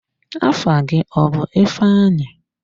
Afa gị ọ bụ ifeanyi?